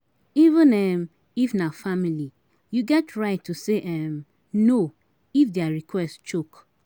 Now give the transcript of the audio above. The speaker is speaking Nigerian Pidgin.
Even um if na family you get right to say um 'no if their request choke